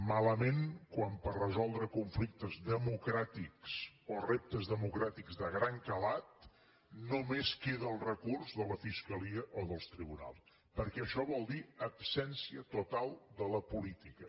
malament quan per resoldre conflictes democràtics o reptes democràtics de gran calat només queda el recurs de la fiscalia o dels tribunals perquè això vol dir absència total de la política